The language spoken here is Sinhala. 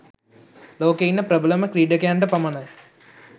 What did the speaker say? ලෝකයේ ඉන්න ප්‍රබලම ක්‍රීඩකයන්ට පමණයි.